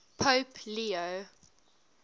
pope leo